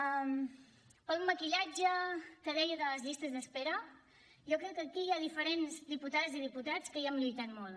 pel maquillatge que deia de les llistes d’espera jo crec que aquí hi ha diferents diputades i diputats que hi hem lluitat molt